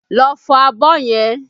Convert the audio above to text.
Lọ fọ abọ́ yẹn!